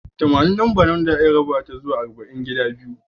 Tamanin lambace da za'a iya raba ta zuwa arba'in gida biyu.